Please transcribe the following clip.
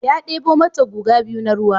Ya ɗebo mata guga biyu na ruwa.